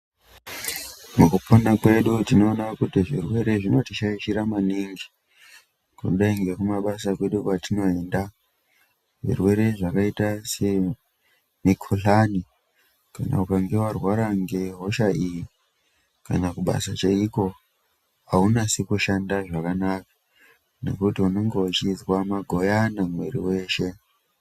Mukupona kwedu tinoona kuti zvirwere zvinoti shaishira maningi kudai ngeku mabasa kwedu kwatinoenda zvirwere zvakaita se mikuhlani kana ukange warwara nge hosha iyi kana kubasa chaiko aunasi kusanda zvakanaka nekuti unenge uchizwa magoyana mwiri weshe.